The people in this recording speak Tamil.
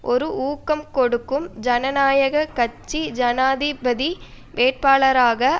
ஒரு ஊக்கம் கொடுக்கும் ஜனநாயக கட்சி ஜனாதிபதி வேட்பாளராக